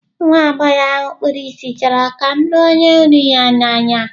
Nwa agbọghọ ahụ kpuru ìsì chọrọ ka m lụọ onye hụrụ ya n'anya.